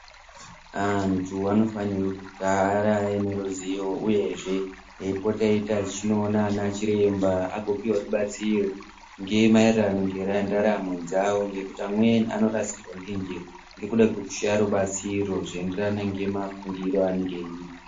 Antu anofanire kugara aine ruziyo uyezve eipota eita echinoona ana chiremba agopihwa rubatsiro ngemaererano ngendaramo dzavo ngekuti amweni anorasikirwa ngenjere ngekuda kwekushaya rubatsiro zvinoenderana ngemafungiro aanenge eiita.